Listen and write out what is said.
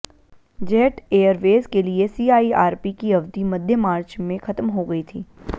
jet Airways के लिए CIRP की अवधि मध्य मार्च में खत्म हो गई थी